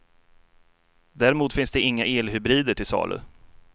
Däremot finns det inga elhybrider till salu.